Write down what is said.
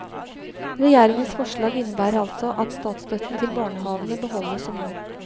Regjeringens forslag innebærer altså at statsstøtten til barnehavene beholdes som nå.